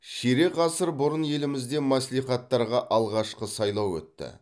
ширек ғасыр бұрын елімізде мәслихаттарға алғашқы сайлау өтті